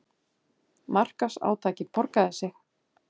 Markaðsátakið borgaði sig